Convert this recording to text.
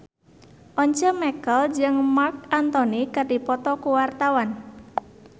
Once Mekel jeung Marc Anthony keur dipoto ku wartawan